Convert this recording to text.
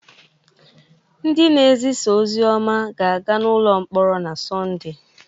Ndị na-ezisa ozi ọma ga-aga n’ụlọ mkpọrọ na Sọnde